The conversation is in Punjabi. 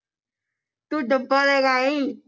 ਤੂੰ ਡੱਬਾ ਲੈ ਕੇ ਆਈ